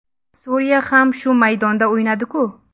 Suriya ham shu maydonda o‘ynadi-ku.